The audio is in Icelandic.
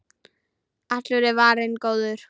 Allur er varinn góður.